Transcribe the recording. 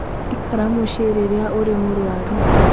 Ikara mũciĩ rĩrĩa ũrĩ mũrũaru.